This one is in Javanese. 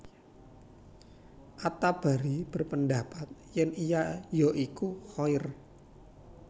At Tabari berpendapat yèn ia ya iku Khair